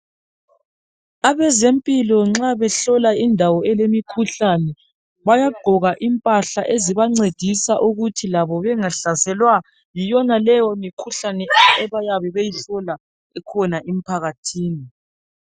Abezempilo nxa behlola indawo elemikhuhlane bayagqoka impahla ezibancedisa ukuthi labo bengahlaselwa yiyonaleyi imikhuhlane abayabe beyihlola ekhona emphakathini